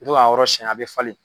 To k'a yɔrɔ siyɛn, a bɛ falen